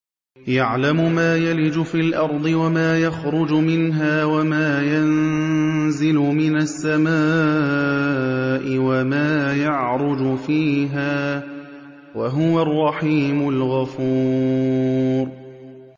يَعْلَمُ مَا يَلِجُ فِي الْأَرْضِ وَمَا يَخْرُجُ مِنْهَا وَمَا يَنزِلُ مِنَ السَّمَاءِ وَمَا يَعْرُجُ فِيهَا ۚ وَهُوَ الرَّحِيمُ الْغَفُورُ